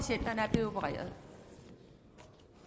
høre